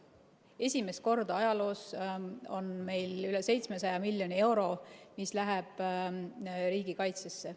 Esimest korda ajaloos on meil üle 700 miljoni euro, mis läheb riigikaitsesse.